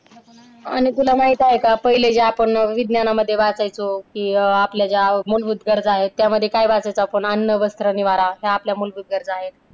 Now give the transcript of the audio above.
आणि तुला माहित आहे का पहिले जे आपण विज्ञानामध्ये वाचायचो कि आपल्या ज्या मूलभूत गरजा आहेत त्यामध्ये काय वाचायचो आपण अन्न, वस्र, निवारा ह्या आपल्या मूलभूत गरजा आहेत.